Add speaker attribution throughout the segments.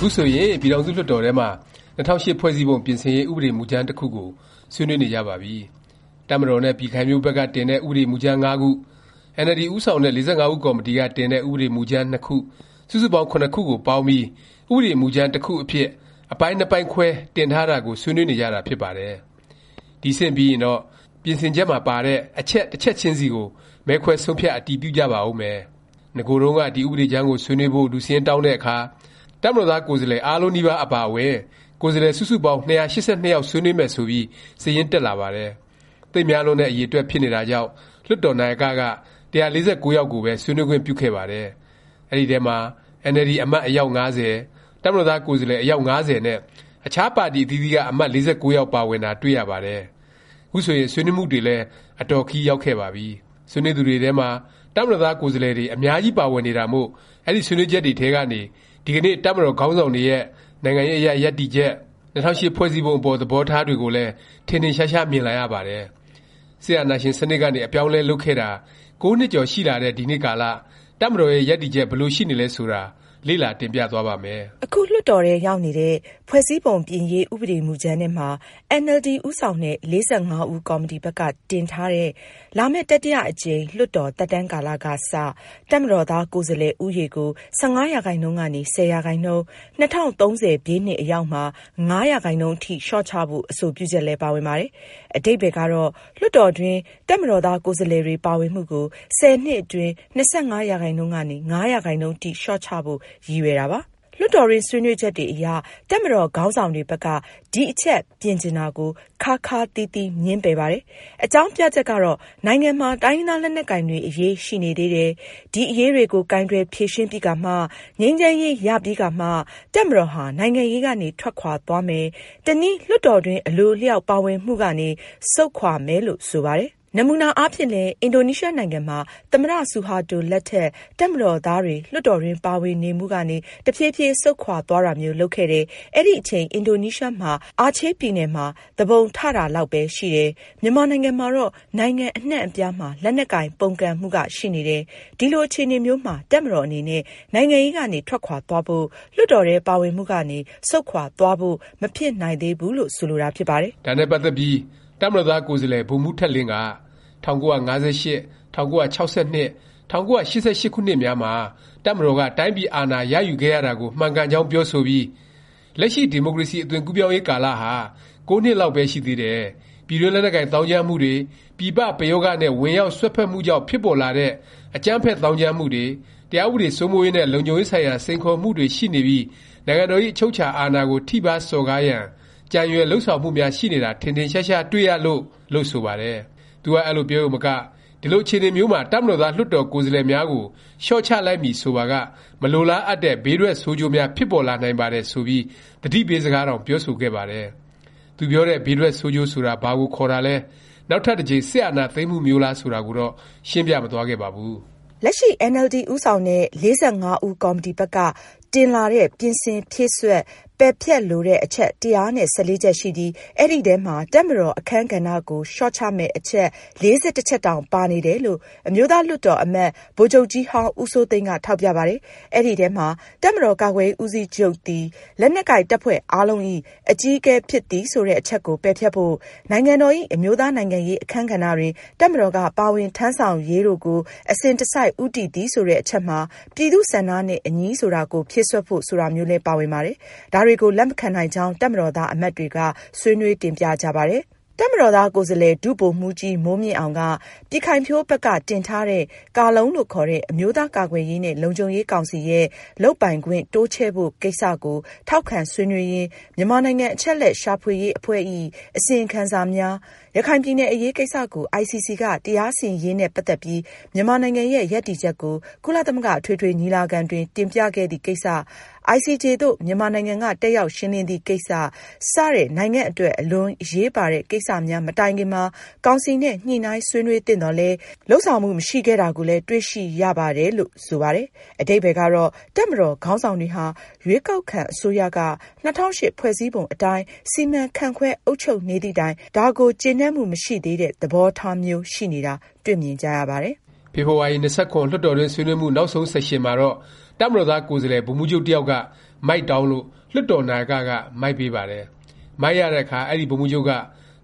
Speaker 1: ခုဆိုရင် ပြည်ထောင်စုလွှတ်တော်ထဲမှာ ၂၀၀၈ ဖွဲ့စည်းပုံ ပြင်ဆင်ရေး ဥပဒေ မူကြမ်း တစ်ခုကို ဆွေးနွေးနေကြပါပြီ။ တပ်မတော်နဲ့ ပြည်ခိုင်ဖြိုး ဘက်က တင်တဲ့ ပြင်ဆင်ရေး ဥပဒေမူကြမ်း ၅ ခု၊ အင်န်အယ်လ်ဒီ ဦးဆောင်တဲ့ ၄၅ ဦးကော်မတီက တင်တဲ့ ဥပဒေမူကြမ်း ၂ ခု၊ စုစုပေါင်း (၇) ခုကို ပေါင်းပြီး ဥပဒေမူကြမ်း တစ်ခုအဖြစ်၊ အပိုင်း ၂ ပိုင်းခွဲ တင်ထားတာကို ဆွေးနွေးနေကြတာ ဖြစ်ပါတယ်။ ဒီ အဆင့်ပြီးရင်တော့ ပြင်ဆင်ချက်မှာပါတဲ့ အချက် တစ်ချက်ခြင်းစီကို မဲခွဲ ဆုံးဖြတ် အတည်ပြုကြပါဦးမယ်။ နဂိုတုန်းက ဒီ ဥပဒေကြမ်းကို ဆွေးနွေးဖို့ လူစာရင်းတောင်းတဲ့အခါ တပ်မတော်သား ကိုယ်စားလှယ် အားလုံးနီးပါး အပါအဝင် ကိုယ်စားလှယ် စုစုပေါင်း ၂၈၂ ယောက် ဆွေးနွေးမယ် ဆိုပြီး စာရင်း တက်လာပါတယ်။ သိပ်များလွန်းတဲ့ အရည်အတွက်ဖြစ်နေတာကြောင့် လွှတ်တော်နာယက က ၁၄၉ ယောက်ကိုပဲ ဆွေးနွေးခွင့်ပြုခဲ့ပါတယ်။ အဲဒီအထဲမှာ အင်န်အယ်လ်ဒီ အမတ် အယောက် ၅၀၊ တပ်မတော်သား ကိုယ်စားလှယ် အယောက် ၅၀နဲ့ အခြား ပါတီအသီးသီးက အမတ် ၄၉ ယောက် ပါဝင်တာ တွေ့ရပါတယ်။ ခုဆိုရင် ဆွေးနွေးမှုတွေလည်း အတော် ခရီးရောက်ခဲ့ပါပြီ။ ဆွေးနွေးသူတွေထဲမှာ တပ်မတော်သားကိုယ်စားလှယ် အများကြီး ပါဝင်နေတာမို့ အဲဒီဆွေးနွေးချက်တွေထဲကနေ ဒီကနေ့ တပ်မတော်ခေါင်းဆောင်တွေရဲ့ နိုင်ငံရေးအရ ရပ်တည်ချက်၊ ၂၀၀၈ ဖွဲ့စည်းပုံ အပေါ် သဘောထားတွေကိုလည်း ထင်ထင်ရှားရှား မြင်လာရပါတယ်။ စစ်အာဏာရှင် စနစ်ကနေ အပြောင်းအလဲ လုပ်ခဲ့တာ ၉ နှစ်ကျော် ရှိလာတဲ့ ဒီနေ့ကာလ တပ်မတော်ရဲ့ ရပ်တည်ချက် ဘယ်လိုရှိနေသလဲ ဆိုတာ လေ့လာ တင်ပြသွားပါ့မယ်။
Speaker 2: အခုလွှတ်တော်ထဲ ရောက်နေတဲ့ ဖွဲ့စည်းပုံပြင်ရေး ဥပဒေမူကြမ်းထဲမှာ အင်န်အယ်လ်ဒီ ဦးဆောင်တဲ့ ၄၅ ဦးကော်မတီဘက်က တင်ထားတဲ့ လာမယ့် တတိယ အကြိမ် လွှတ်တော် သက်တမ်း ကာလကစ တပ်မတော်သား ကိုယ်စားလှယ် ဦးရေကို ၁၅ ရာခိုင်နှုန်း၊ ၁၀ ရာခိုင်နှုန်း၊ ၂၀၃၀ ခုနှစ်အရောက်မှာ ၅ ရာခိုင်နှုန်းအထိ လျော့ချဖို့ အဆိုပြုချက်လည်း ပါဝင်ပါတယ်။ အဓိပ္ပါယ်ကတော့ လွှတ်တော်တွေအတွင်း တပ်မတော်သား ကိုယ်စားလှယ်တွေ ပါဝင်မှုကို ၁၀ နှစ်အတွင်း ၂၅ ရာခိုင်နှုန်းကနေ ၅ ရာခိုင်နှုန်းအထိ လျော့ချဖို့ ရည်ရွယ်တာပါ။ လွှတ်တော်တွင်း ဆွေးနွေးချက်တွေအရ တပ်မတော် ခေါင်းဆောင်တွေဘက်က ဒီအချက်ပြင်ချင်တာကို ခါးခါးသီးသီး ငြင်းပယ်ပါတယ်။ အကြောင်းပြချက်ကတော့ နိုင်ငံမှာ တိုင်းရင်းသား လက်နက်ကိုင်တွေ အရေး ရှိနေသေးတယ်၊ ဒီအရေးတွေကို ကိုင်တွယ် ဖြေရှင်းပြီးကာမှ၊ ငြိမ်းချမ်းရေး ရပြီးကာမှ တပ်မတော်ဟာ နိုင်ငံရေးကနေ ထွက်ခွာသွားမယ်၊ တနည်း လွှတ်တော်တွင်း အလိုအလျောက် ပါဝင်မှုကနေ ဆုတ်ခွာမယ်လို့ ဆိုပါတယ်။ နမူနာအားဖြင့်လည်း အင်ဒိုနီးရှားနိုင်ငံမှာ သမ္မတ ဆူဟာတို လက်ထက် တပ်မတော်သားတွေ လွှတ်တော်တွင်း ပါဝင်နေမှုကနေ တဖြေးဖြေး ဆုတ်ခွာသွားတာမျိုး လုပ်ခဲ့တယ်၊ အဲဒီအချိန် အင်ဒိုနီးရှားမှာ အာချေးပြည်နယ်မှာ သူပုန်ထ တာလောက်ပဲ ရှိတယ်၊ မြန်မာနိုင်ငံမှာကတော့ နိုင်ငံအနှံ့အပြားမှာ လက်နက်ကိုင် ပုန်ကန်မှုက ရှိနေတယ်၊ ဒီလို အခြေအနေမျိုးမှာ တပ်မတော်အနေနဲ့ နိုင်ငံရေးကနေ ထွက်ခွာသွားဖို့၊ လွှတ်တော်ထဲ ပါဝင်မှုကနေ ဆုတ်ခွာသွားဖို့ မဖြစ်နိုင်သေးဘူးလို့ ဆိုလိုတာ ဖြစ်ပါတယ်
Speaker 1: ။ ဒါနဲ့ ပတ်သက်ပြီး တပ်မတော်သား ကိုယ်စားလှယ် ဗိုလ်မှူးထက်လင်းက ၁၉၅၈၊ ၁၉၆၂၊ ၁၉၈၈ ခုနှစ်များမှာ တပ်မတော်က တိုင်းပြည်အာဏာရယူခဲ့ရတာကို မှန်ကန်ကြောင်း ပြောဆိုပြီး “လက်ရှိ ဒီမိုကရေစီ အသွင်ကူးပြောင်းရေး ကာလဟာ ၉ နှစ်လောက်ပဲ ရှိသေးတယ်၊ ပြည်တွင်း လက်နက်ကိုင် သောင်းကျန်းမှုတွေ၊ ပြည်ပ ပရောဂနဲ့ ဝင်ရောက်စွက်ဖက်မှုကြောင့် ဖြစ်ပေါ်လာတဲ့ အကြမ်းဖက် သောင်းကျန်းမှုတွေ၊ တရားဥပဒေ စိုးမိုးရေးနဲ့ လုံခြုံရေးဆိုင်ရာ စိန်ခေါ်မှုတွေ ရှိနေပြီး နိုင်ငံတော်ဇ။် အချုပ်အခြာအာဏာကို ထိပါး စော်ကားရန် ကြံရွယ်လုပ်ဆောင်မှုများ ရှိနေတာ ထင်ထင်ရှားရှား တွေ့ရလို့” လို့ ဆိုပါတယ်။ သူက အဲလိုပြောရုံမက “ ဒီလို အခြေအနေမျိုးမှာ တပ်မတော်သား လွှတ်တော် ကိုယ်စားလှယ်များကို လျော့ချလိုက်မည် ဆိုပါက မလိုလားအပ်တဲ့ ဘေးထွက်ဆိုးကျိုးများ ဖြစ်ပေါ်လာနိုင်ပါတယ်။” ဆိုပြီး သတိပေးစကားတောင် ပြောဆိုခဲ့ပါတယ်။ သူပြောတဲ့ ဘေးထွက်ဆိုးကျိုးဆိုတာ ဘာကို ခေါ်တာလဲ၊ နောက်ထပ် တစ်ကြိမ် စစ်အာဏာသိမ်းမှုမျိုးလား ဆိုတာကိုတော့ ရှင်းပြမသွားခဲ့ပါဘူး။ လက်ရှိ အ
Speaker 2: င်န်အယ်လ်ဒီ ဦးဆောင်တဲ့ ၄၅ ဦးကော်မတီဘက်က တင်လာတဲ့ ပြင်ဆင်၊ဖြည့်စွက်၊ ပယ်ဖျက် လိုတဲ့ အချက် ၁၁၄ ချက်ရှိပြီး အဲဒီထဲမှာ တပ်မတော်အခန်းကဏ္ဍကို လျော့ချမယ့် အချက် ၄၁ ချက်တောင် ပါနေတယ်လို့ အမျိုးသားလွှတ်တော် အမတ် ဗိုလ်ချုပ်ကြီးဟောင်း ဦးစိုးသိန်းက ထောက်ပြပါတယ်။ အဲဒီထဲမှာ “ တပ်မတော်ကာကွယ်ရေး ဦးစီးချုပ်သည် လက်နက်ကိုင် တပ်ဖွဲ့အားလုံးဇ။် အကြီးအကဲ ဖြစ်သည်” ဆိုတဲ့အချက်ကို ပယ်ဖျက်ဖို့၊ “ နိုင်ငံတော်ဇ။် အမျိုးသား နိုင်ငံရေး အခန်းကဏ္ဍတွင် တပ်မတော်က ပါဝင်ထမ်းဆောင်ရေး တို့ကို အစဉ်တစိုက် ဦးတည်သည်” ဆိုတဲ့အချက်မှာ “ ပြည်သူ့ဆန္ဒနဲ့ အညီ” ဆိုတာကို ဖြည့်စွက်ဖို့ ဆိုတာမျိုးလည်း ပါဝင်ပါတယ်။ ဒါတွေကို လက်မခံနိုင်ကြောင်း တပ်မတော်သား အမတ်တွေက ဆွေးနွေး တင်ပြကြပါတယ်။ တပ်မတော်သား ကိုယ်စားလှယ် ဒုဗိုလ်မှူးကြီး မိုးမြင့်အောင်က ပြည်ခိုင်ဖြိုးဘက်က တင်ထားတဲ့ ကာလုံလို့ခေါ်တဲ့ အမျိုးသား ကာကွယ်ရေးနဲ့ လုံခြုံရေးကောင်စီ ရဲ့ လုပ်ပိုင်ခွင့် တိုးချဲ့ဖို့ ကိစ္စကို ထောက်ခံဆွေးနွေးရင်း “ မြန်မာနိုင်ငံ အချက်အလက် ရှာဖွေရေး အဖွဲ့ဇ။် အစီရင်ခံစာများ၊ ရခိုင်ပြည်နယ် အရေးကိစ္စကို ICC က တရားစီရင်ရေးနဲ့ ပတ်သက်ပြီး မြန်မာနိုင်ငံရဲ့ ရပ်တည်ချက်ကို ကုလသမဂ္ဂ အထွေထွေ ညီလာခံတွင် တင်ပြခဲ့သည့် ကိစ္စ၊ ICJ သို့ မြန်မာနိုင်ငံက တက်ရောက် ရှင်းလင်းသည့်ကိစ္စ စသည့် နိုင်ငံအတွက် အလွန်အရေးပါတဲ့ ကိစ္စများ မတိုင်ခင်မှာ ကောင်စီနဲ့ ညှိနှိုင်းဆွေးနွေးသင့်သော်လည်း လုပ်ဆောင်မှု မရှိခဲ့တာကိုလည်း တွေ့ရှိရပါတယ်။” လို့ ဆိုပါတယ်။ အဓိပ္ပါယ်ကတော့ တပ်မတော်ခေါင်းဆောင်တွေဟာ ရွေးကောက်ခံ အစိုးရက ၂၀၀၈ ဖွဲ့စည်းပုံအတိုင်း စီမံခန့်ခွဲ အုပ်ချုပ်နေသည့်တိုင် ဒါကို ကျေနပ်မှု မရှိသေးတဲ့ သဘောထားမျိုး ရှိနေတာ တွေ့မြင်ကြရပါတယ်။
Speaker 1: ဖေဖေါ်ဝါရီ ၂၇ လွှတ်တော်တွင်း ဆွေးနွေးမှု နောက်ဆုံး ဆက်ရှင်မှာတော့ တပ်မတော်သား ကိုယ်စားလှယ် ဗိုလ်မှူးချုပ် တစ်ယောက်က မိုက်တောင်းလို့ လွှတ်တော်နာယက က မိုက်ပေးပါတယ်။ မိုက်ရတဲ့အခါ အဲဒီ ဗိုလ်မှူးချုပ်က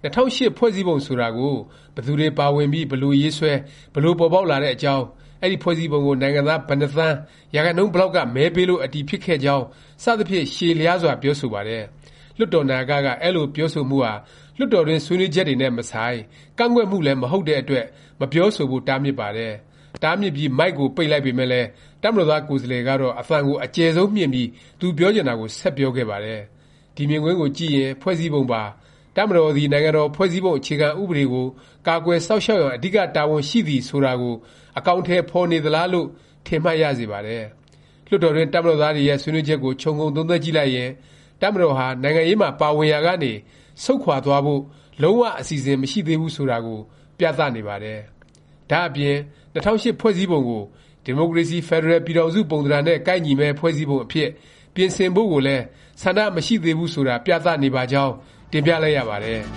Speaker 1: ၂၀၀၈ ဖွဲ့စည်းပုံ ဆိုတာကို ဘယ်သူတွေပါဝင်ပြီး ဘယ်လို ရေးဆွဲ၊ ဘယ်လို ပေါ်ပေါက်လာတဲ့အကြောင်း၊ အဲဒီ ဖွဲ့စည်းပုံကို နိုင်ငံသား ဘယ်နှစ်သန်း၊ ရာခိုင်နှုန်း ဘယ်လောက်က မဲပေးလို့ အတည်ဖြစ်ခဲ့ကြောင်း စသဖြင့် ရှည်လျားစွာ ပြောဆိုပါတယ်။ လွှတ်တော်နာယက က အဲလို ပြောဆိုမှုဟာ လွှတ်တော်တွင်း ဆွေးနွေးချက်တွေနဲ့ မဆိုင်၊ ကန့်ကွက်မှုလည်း မဟုတ်တဲ့အတွက် မပြောဆိုဖို့ တားမြစ်ပါတယ်။ တားမြစ်ပြီး မိုက်ကို ပိတ်လိုက်ပေမယ့်လည်း တပ်မတော်သား ကိုယ်စားလှယ်ကတော့ အသံကို အကျယ်ဆုံးမြှင့်ပြီး သူပြောချင်တာကို ဆက်ပြောခဲ့ပါတယ်။ ဒီမြင်ကွင်းကိုကြည့်ရင် ဖွဲ့စည်းပုံပါ “ တပ်မတော်သည် နိုင်ငံတော် ဖွဲ့စည်းပုံ အခြေခံ ဥပဒေကို ကာကွယ် စောင့်ရှောက်ရန် အဓိက တာဝန်ရှိသည်။” ဆိုတာကို အကောင်အထည် ဖော်နေသလား လို့ ထင်မှတ်ရစေပါတယ်။ လွှတ်တော်တွင်း တပ်မတော်သားတွေရဲ့ ဆွေးနွေးချက်ကို ခြုံငုံသုံးသပ်ကြည့်ရင် တပ်မတော်ဟာ နိုင်ငံရေးမှာ ပါဝင်နေရာကနေ ဆုတ်ခွာသွားဖို့ လုံး၀ အစီအစဉ် မရှိသေးဘူး ဆိုတာကို ပြသနေပါတယ်။ ဒါ့အပြင် ၂၀၀၈ ဖွဲ့စည်းပုံကို ဒီမိုကရေစီ ဖက်ဒရယ် ပြည်ထောင်စု ပုံသဏ္ဍာန်နဲ့ ကိုက်ညီမယ့် ဖွဲ့စည်းပုံအဖြစ် ပြင်ဆင်ဖို့ကိုလည်း ဆန္ဒမရှိသေးဘူး ဆိုတာ ပြသနေပါကြောင်း တင်ပြလိုက်ရပါတယ်။